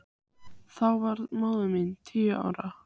Þá var móðir mín tíu ára.